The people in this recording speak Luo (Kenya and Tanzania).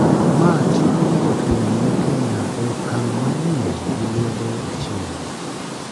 ma tingo jo thum ma Kenya e okang manyien gi lwedo achiel